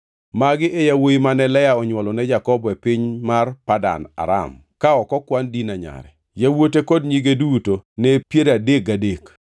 Magi e yawuowi mane Lea onywolo ne Jakobo e piny mar Padan Aram, ka ok okwan Dina nyare. Yawuote kod nyige duto ne piero adek gadek.